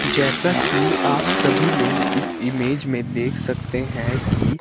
जैसा कि आप सभी लोग इस इमेज में देख सकते हैं कि--